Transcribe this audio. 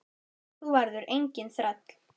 Þú verður enginn þræll.